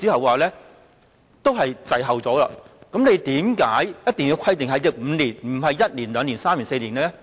為何局方一定要規定5年，而不是1年、2年、3年或4年？